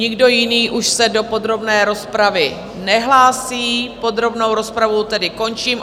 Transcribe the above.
Nikdo jiný už se do podrobné rozpravy nehlásí, podrobnou rozpravu tedy končím.